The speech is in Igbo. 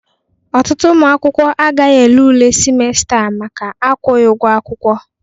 Ọtụtụ ụmụ akwụkwọ agaghị ele ule simesta a maka akwụghị ụgwọ akwụkwọ.